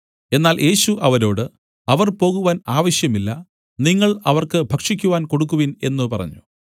എന്നാൽ യേശു അവരോട് അവർ പോകുവാൻ ആവശ്യമില്ല നിങ്ങൾ അവർക്ക് ഭക്ഷിക്കുവാൻ കൊടുക്കുവിൻ എന്നു പറഞ്ഞു